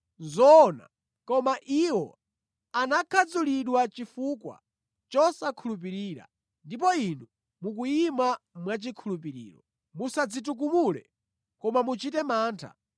Nʼzoona. Koma iwo anakhadzulidwa chifukwa chosakhulupirira ndipo inu mukuyima mwachikhulupiriro. Musadzitukumule, koma muchite mantha.